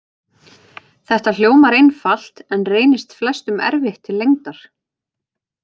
Þetta hljómar einfalt en reynist flestum erfitt til lengdar.